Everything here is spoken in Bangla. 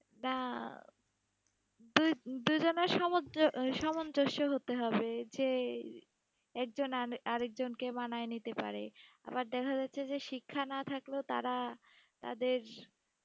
তা দুই দুইজনার সামঞ্জ- আহ সামঞ্জস্য হতে হবে যে, একজন আর- আরেকজনকে মানায়ে নিতে পারে, আবার দেখা যাচ্ছে যে শিক্ষা না থাকলেও তারা তাদের